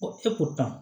Ko e ko tan